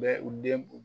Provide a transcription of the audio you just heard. Bɛ u denw